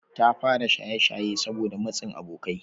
Ta fara shaye-shaye saboda matsin abokai.